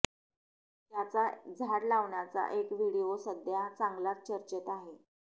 त्याचा झाड लावण्याचा एक व्हिडीओ सध्या चांगलाच चर्चेत आहे